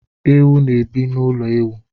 Ewu na ebi na ụlọ ewu